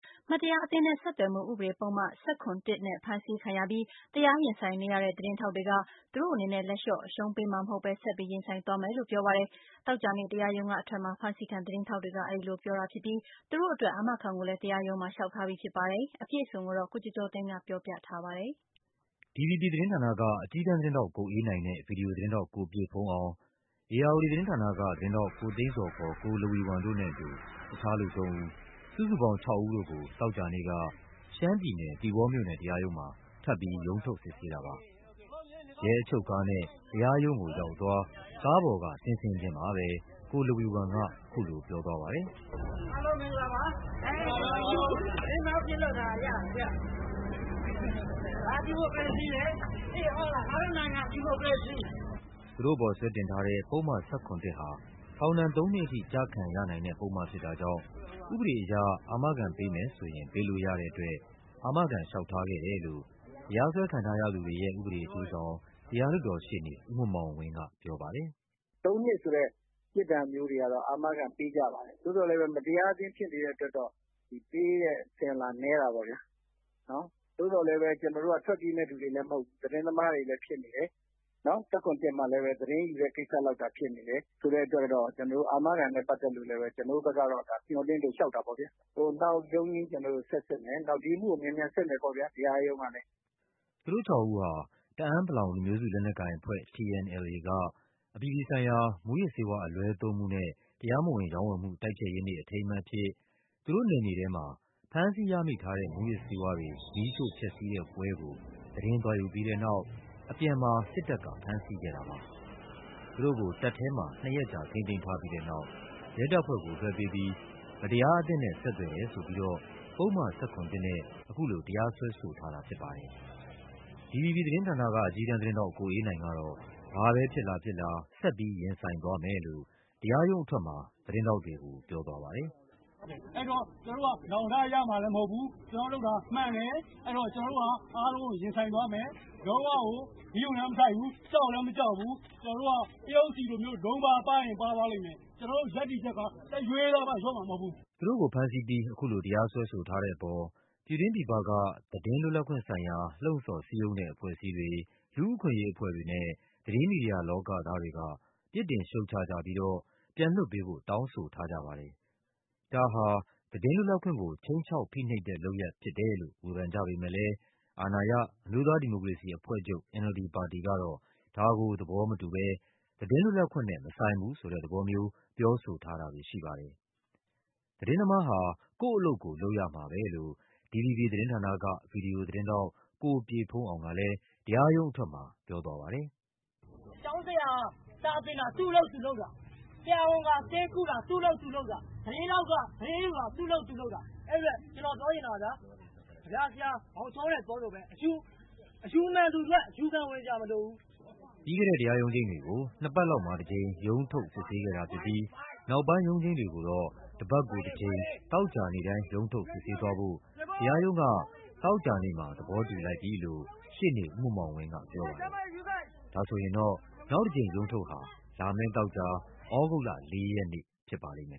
မတရားအသင်းနဲ့ဆက်သွယ်မှု ဥပဒေပုဒ်မ ၁၇ ဖမ်းဆီးခံရပြီး တရားရင်ဆိုင်နေရတဲ့ သတင်းထောက်တွေက သူတို့အနေနဲ့ လက်လျှော့ အရှုံးပေးမှာမဟုတ်ဘဲ ဆက်ပြီး ရင်ဆိုင်သွားမယ်လို့ ပြောပါတယ်။ သောကြာနေ့ တရားရုံးကအထွက် မှာ ဖမ်းဆီးခံသတင်းထောက်တွေက အဲဒီလိုပြောသွားကြတာဖြစ်ပြီး သူတို့အတွက် အာမခံကိုလဲ တရားရုံးမှာ လျှောက်ထားပြီး ဖြစ်ပါတယ်။ အပြည့်အစုံကို ကိုကျော်ကျော်သိန်းက ဆက်ပြောပြပါမယ်။ DVB သတင်းဌာနက အကြီးတန်းသတင်းထောက် ကိုအေးနိုင်နဲ့ ဗွီဒီယိုသတင်းထောက် ကိုပြည့်ဘုန်းအောင်၊ ဧရာဝတီ သတင်းဌာနက သတင်းထောက် ကိုသိန်းဇော် ခေါ် ကိုလဝီဝမ်တို့နဲ့အတူ တခြားလူသုံးဦး၊ စုစုပေါင်း ခြောက်ဦးတို့ကို သောကြာ နေ့က ရှမ်းပြည်နယ်၊ သီပေါမြို့နယ်တရားရုံးမှာ ထပ်ပြီး ရုံးထုတ် စစ်ဆေးတာပါ။ ရဲအချုပ်ကားနဲ့ တရားရုံးကိုအရောက် ကားပေါ်က ဆင်းဆင်းချင်းမှာပဲ ကိုလဝီဝမ်က အခုလိုပြောသွားပါတယ်။ “အားလုံးမင်္ဂလာပါ။ သတင်းထောက်ဖြစ်လို့ ဒါရတာ။ ဒါဒီမိုကရေစီလေ သိတယ်မဟုတ်လား။ ငါတို့ နိုင်ငံ ဒီမိုကရေစီ။” သူတို့အပေါ် ဆွဲတင်ထားတဲ့ ပုဒ်မ ၁၇ ဟာ ထောင်ဒဏ်သုံးနှစ်ထိ ကျခံရနိုင်တဲ့ပုဒ်မဖြစ်တာကြောင့် ဥပဒေအရ အာမခံ ပေးမယ်ဆိုရင် ပေးလို့ရတဲ့အတွက် အာမခံလျှောက်ထားခဲ့တယ်လို့ တရားစွဲခံထားရသူတွေရဲ့ ဥပဒေအကျိုးဆောင် တရား လွှတ်တော်ရှေ့နေ ဦးမောင်မောင်ဝင်းက ပြောပါတယ်။ “၃ နှစ်ဆိုတဲ့ ပြစ်ဒဏ်မျိုးတွေကတော့ အာမခံပေးကြပါတယ်။ သို့သော်လည်း မတရားအသင်းဖြစ်နေတဲ့အတွက်တော့ ပေးတဲ့အစဉ်အလာနည်းတာပေါ့ဗျာ။ သို့သော်လည်း ကျနော်တို့က ထွက်ပြေးမယ့်လူတွေလည်း မဟုတ်ဘူး သတင်းသမားတွေလည်းဖြစ်နေတယ်။ ၁၇/၁ မှာ သတင်းယူတဲ့ ကိစ္စကြောင့်ဖြစ်နေတယ် ဆိုတဲ့အတွက် ကျနော်တို့ အာမခံနဲ့ ပတ်သက်လို့လည်း ကျနော်တို့ဘက်ကတော့ မျှော်လင့်လို့ လျှောက်တာပေါ့ခင်ဗျာ။ နောက်ရုံးချိန်းကျနော်တို့ ဆက်စစ်မယ်၊ ဒီအမှုကို မြန်မြန်စစ်မယ်ပေါ့ဗျာ တရားရုံးကလည်း။” သူတို့ခြောက်ဦးဟာ တအာင်း ပလောင် လူမျိုးစုလက်နက်ကိုင်အဖွဲ့ TNLA က အပြည်ပြည်ဆိုင်ရာ မူးယစ်ဆေးဝါး အလွဲသုံးမှုနဲ့ တရားမဝင်ရောင်းဝယ်မှု တိုက်ဖျက်ရေးနေ့ အထိမ်းအမှတ်အဖြစ် သူတို့နယ်မြေထဲမှာ ဖမ်းဆီးရမိထားတဲ့ မူးယစ်ဆေးဝါးတွေ မီးရှို့ဖျက်ဆီးတဲ့ပွဲကို သတင်းသွားယူပြီးတဲ့နောက် အပြန်မှာ စစ်တပ်က ဖမ်းဆီးခဲ့တာပါ။ သူတို့ကို တပ်ထဲမှာ နှစ်ရက်ကြာ ထိန်းသိမ်းထားပြီးတဲ့နောက် ရဲတပ်ဖွဲ့ကိုလွှဲပေးပြီး မတရားအသင်းနဲ့ ဆက်သွယ်တယ်ဆိုပြီးတော့ ပုဒ်မ ၁၇ နဲ့ အခုလို တရားစွဲ ဆိုထားတာဖြစ်ပါတယ်။ DVB သတင်းဌာနက အကြီးတန်းသတင်းထောက် ကိုအေးနိုင်ကတော့ ဘာပဲဖြစ်လာဖြစ်လာ ဆက်ပြီး ရင်ဆိုင်သွားမယ်လို့ တရား ရုံးအထွက်မှာ သတင်းထောက်တွေကို ပြောသွားပါတယ်။ “အဲဒီတော့ ကျနော်တို့က နောင်တရမှာလည်းမဟုတ်ဘူး ၊ ကျနော်တို့လုပ်တာလည်းမှန်တယ် အဲဒါကြောင့် ကျနော်တို့ဟာ အားလုံးကို ရင်ဆိုင်သွားမယ်။ လုံး၀ ဂရုလည်းမစိုက်ဘူး ကြောက်လည်းမကြောက်ဘူး။ ကျနော်တို့က ပရုပ်ဆီလို လုံးပါးပါးရင် ပါးသွားလိမ့်မယ် ကျနော်တို့ရပ်တည်ချက်က လျော့မှာမဟုတ်ဘူး။” သူတို့ကိုဖမ်းဆီးပြီး အခုလို တရားစွဲဆိုထားတဲ့အပေါ် ပြည်တွင်းပြည်ပက သတင်းလွတ်လပ်ခွင့်ဆိုင်ရာ လှုံ့ဆော်စည်းရုံးတဲ့ အဖွဲ့ အစည်းတွေ၊ လူ့အခွင့်အရေးအဖွဲ့တွေနဲ့ သတင်းမီဒီယာလောကသားတွေက ပြစ်တင်ရှုတ်ချကြပြီးတော့ ပြန်လွှတ်ပေးဖို့ တောင်းဆိုထားကြပါတယ်။ ဒါဟာ သတင်းလွတ်လပ်ခွင့်ကို ခြိမ်းခြောက်ဖိနှိပ်တဲ့လုပ်ရပ်ဖြစ်တယ်လို့ ဝေဖန်ကြပေမဲ့လဲ အာဏာရ အမျိုးသားဒီမိုကရေစီအဖွဲ့ချုပ် NLD ပါတီကတော့ ဒါကို သဘောမတူဘဲ သတင်းလွတ်လပ်ခွင့်နဲ့ မဆိုင်ဘူးဆိုတဲ့သဘောမျိုး ပြော ဆိုထားတာတွေရှိပါတယ်။ သတင်းသမားဟာ ကိုယ့်အလုပ်ကိုယ် လုပ်ရမှာပဲလို့ DVB သတင်းဌာနက ဗွီဒီယိုသတင်းထောက် ကိုပြည့်ဘုန်းအောင်ကလဲ တရားရုံးအထွက်မှာ ပြောသွားပါတယ်။ “ကျောင်းဆရာက စာသင်တာ သူ့အလုပ်သူလုပ်တာ၊ ဆရာဝန်က ဆေးကုတာ သူ့အလုပ်သူလုပ်တာ။ သတင်းထောက်က သတင်းယူတာ သူ့အလုပ်သူလုပ်တာ အဲဒီအတွက် ကျနော်ပြောချင်တာက ကဗျာဆရာ မောင်ချောနွယ်ပြောသလိုပဲ အယူမှန်သူအတွက် အယူခံဝင်စရာမလိုဘူး။” ပြီးခဲ့တဲ့ တရားရုံးချိန်းတွေကို နှစ်ပတ်လောက်မှာတကြိမ် ရုံးထုတ် စစ်ဆေးခဲ့တာဖြစ်ပြီး နောက်ပိုင်းရုံးချိန်းတွေကိုတော့ တပတ်ကို တကြိမ် သောကြာနေ့တိုင်း ရုံးထုတ်စစ်ဆေးသွားဖို့ တရားရုံးက သောကြာနေ့မှာ သဘောတူလိုက်ပြီလို့ ရှေ့နေဦးမောင်မောင်ဝင်း ကပြောပါတယ်။ ဒါဆိုရင်တော့ နောက်တကြိမ်ရုံးထုတ်ဟာ လာမယ့်သောကြာ သြဂုတ်လ ၄ ရက်နေ့ဖြစ်ပါလိမ့်မယ်